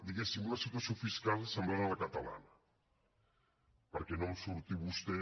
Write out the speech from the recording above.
diguéssim una situació fiscal semblant a la catalana perquè no em surti vostè